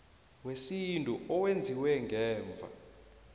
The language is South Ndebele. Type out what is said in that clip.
wesintu owenziwe ngemva